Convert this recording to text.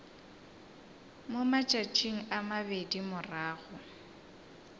mo matšatšing a mabedi morago